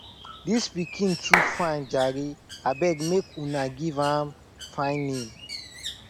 dis pikin too fine jare abeg make una give am fine name